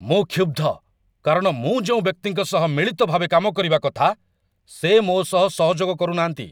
ମୁଁ କ୍ଷୁବ୍ଧ କାରଣ ମୁଁ ଯେଉଁ ବ୍ୟକ୍ତିଙ୍କ ସହ ମିଳିତ ଭାବେ କାମ କରିବା କଥା, ସେ ମୋ ସହ ସହଯୋଗ କରୁନାହାଁନ୍ତି।